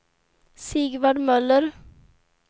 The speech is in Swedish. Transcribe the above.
Sigvard Möller